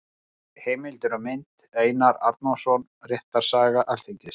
Heimildir og mynd: Einar Arnórsson: Réttarsaga Alþingis.